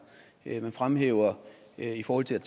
man fremhæver i forhold til